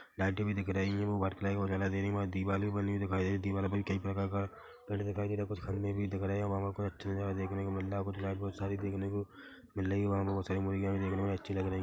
लाइटे भी दिख रही है व्हाइट कलर का दीवाले भी बनी हुई दिखाई दे रही दीवाल मे कई प्रकार का पेड़ दिखाई दे रहा कुछ खंभे भी दिख रहे वहाँ कुछ अच्छा- सा देखने को मिल रहा है कुछ लाइट दिखने को मिल रही है वहाँ पर बहुत सारी मुर्गियाँ देखने को अच्छी लग रही है।